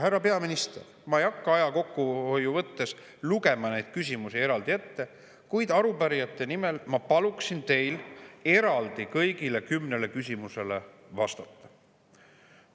Härra peaminister, ma ei hakka aja kokkuhoiu mõttes lugema neid küsimusi eraldi ette, kuid arupärijate nimel ma palun teil kõigile kümnele küsimusele eraldi vastata.